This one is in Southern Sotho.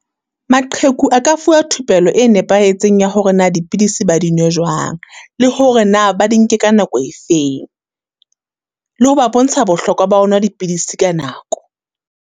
Maqheku a ka fuwa thupelo e nepahetseng ya hore na dipidisi ba di nwe jwang, le hore na ba di nke ka nako e feng? Le ho ba bontsha bohlokwa ba nwa dipidisi ka nako.